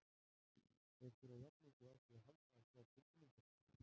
Þeir þurfa jafn mikið á því að halda að tjá tilfinningar sínar.